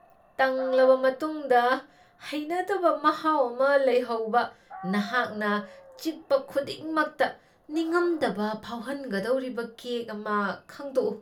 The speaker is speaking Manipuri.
ꯇꯪꯂꯕ ꯃꯇꯨꯡꯗ ꯍꯩꯅꯗꯕ ꯃꯍꯥꯎ ꯑꯃ ꯂꯩꯍꯧꯕ, ꯅꯍꯥꯛꯅ ꯆꯤꯛꯄ ꯈꯨꯗꯤꯡꯃꯛꯇ ꯅꯤꯉꯝꯗꯕ ꯐꯥꯎꯍꯟꯒꯗꯧꯔꯤꯕ ꯀꯦꯛ ꯑꯃ ꯈꯪꯗꯣꯛꯎ ꯫